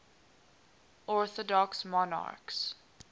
orthodox monarchs